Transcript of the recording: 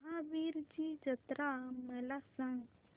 महावीरजी जत्रा मला सांग